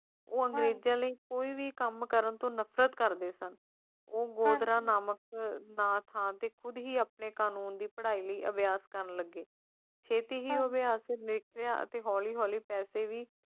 ਉਹ ਮੰਜ਼ਲ ਕੋਈ ਵੀ ਕੰਮ ਕਰਨ ਤੋਂ ਨਫਰਤ ਕਰਦੇ ਸਨ ਪੁੰਨਿਆ ਅਮਰਾ ਨਾਮਕ ਸਥਾਨ ਤੇ ਖੁਦ ਹੀ ਆਪ ਨੇ ਕਾਨੂੰਨ ਦੀ ਪੜ੍ਹਾਈ ਲਈ ਅਭਿਆਸ ਕਰਨ ਲੱਗੇ ਛੇਤੀ ਹੀ ਹੋਵੇ ਆਖ਼ਿਰ ਲੈ ਲਿਆ ਅਤੇ ਹੌਲੀ-ਹੌਲੀ ਪੈਸੇ ਵੀ